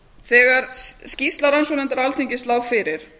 þegar skýrsla rannsóknarnefndar alþingis lá fyrir